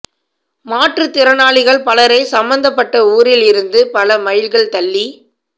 மாற்று திறனாளிகள் பலரை சம்பந்தப்பட்ட ஊரில் இருந்து பல மைல்கள் தள்ளி